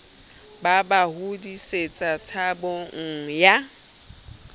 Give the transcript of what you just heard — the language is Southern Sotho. ba ba hodisetsa tshabong ya